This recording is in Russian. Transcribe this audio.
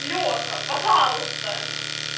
леха пожалуйста